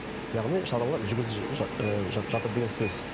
яғни шаралар жүргізіліп ы жатыр деген сөз